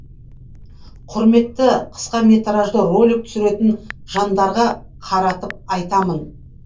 құрметті қысқаметражды ролик түсіретін жандарға қаратып айтамын